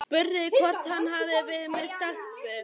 Spurði hvort hann hefði verið með stelpu.